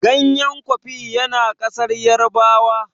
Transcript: ganyen kofi ya na kasar yarabawa